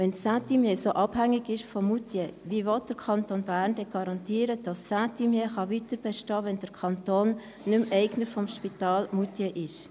Wenn Saint-Imier dermassen abhängig ist von Moutier, wie will der Kanton Bern somit garantieren, dass Saint-Imier weiterbestehen kann, wenn der Kanton nicht mehr Eigner des Spitals in Moutier ist?